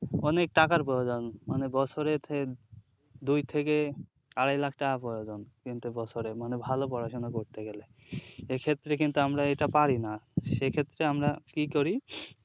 অনেক টাকার প্রয়োজন মানে বৎসরে দুই থেকে আড়াই লাখ টাকা প্রয়জন কিন্তু বছরে মানে ভালো পড়াশুনা করতে গেলে এক্ষেত্রে কিন্তু আমরা এটা পারিনা সেক্ষেত্রে আমরা কি করি